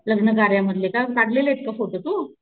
लग्न कार्या मधले का टाकलेलेत का फोटो तू,